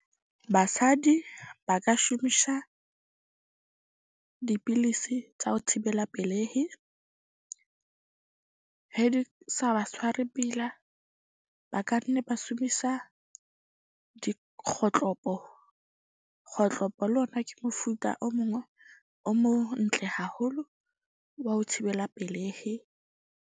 Basadi ba ka shumisha dipilisi tsa ho thibela pelehi, he di sa ba tshware pila. Ba ka nne ba shumisa dikgotlopo. Kgotlopo le ona ke mofuta o mong o o montle haholo wa ho thibela pelehi.